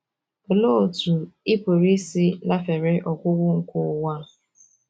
Olee Otú Ị Pụrụ Isi lafere Ọgwụgwụ nke Ụwa A?